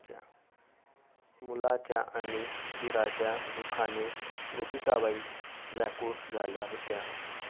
मुलाच्या आणि दिराच्या दुःखाने गोपिकाबाई व्याकुळ झाल्या होत्या.